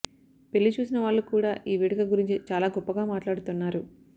పెళ్లి చూసిన వాళ్లు కూడా ఈ వేడుక గురించి చాలా గొప్పగా మాట్లాడుతున్నారు